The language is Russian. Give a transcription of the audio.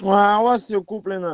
ну а у вас все куплено